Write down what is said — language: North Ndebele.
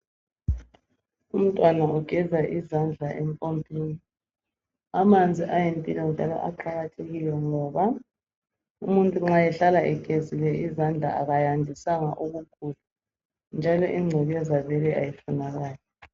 Umntwana ugeza izandla empompini amanzi ayimpilo njalo aqakathekile ngoba umuntu nxa ehlala egezile izandla akayandisanga ukugula njalo ingcekeza ayifunakali.